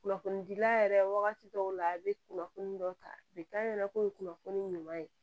Kunnafonidila yɛrɛ wagati dɔw la a bɛ kunnafoni dɔ ta k'a ɲɛna k'o ye kunnafoni ɲuman ye